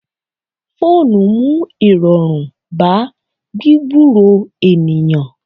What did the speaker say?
Fóònù mú irọrun bá gbigburo ènìyàn.